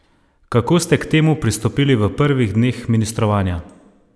Kako ste k temu pristopili v prvih dneh ministrovanja?